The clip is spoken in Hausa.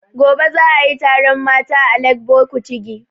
Gobe za a yi taron mata a Legbo Kutigi